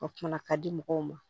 A kuma ka di mɔgɔw ma